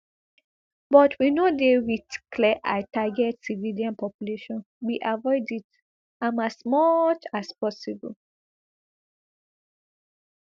but we no dey wit clear eye target civilian population we avoid it am as much as possible